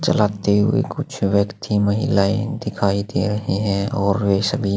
चलाते हुए कुछ व्यक्ति महिलायें दिखाई दे रहे है और वे सभी--